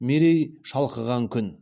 мерей шалқыған күн